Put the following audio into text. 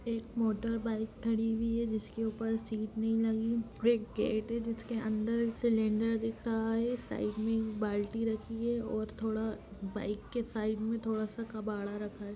एक मोटरबाइक खड़ी हुई है। जिसके ऊपर सीट नहीं लगी और एक गेट है। जिसके अंदर एक सिलिंडर दिख रहा है। साइड में एक बाल्टी रखी है और थोड़ा बाइक के साइड में थोड़ा सा कबाड़ा रखा है।